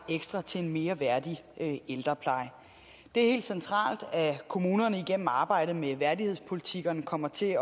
ekstra til en mere værdig ældrepleje det er helt centralt at kommunerne igennem arbejdet med værdighedspolitikkerne kommer til